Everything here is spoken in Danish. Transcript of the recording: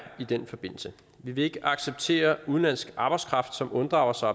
i den forbindelse vi vil ikke acceptere udenlandsk arbejdskraft som unddrager sig